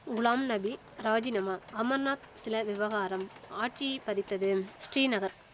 குலாம் நபி ராஜினாமா அமர்நாத் சில விவகாரம் ஆட்சியை பதித்ததும் ஸ்ரீநகர்